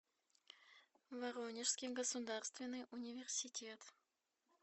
воронежский государственный университет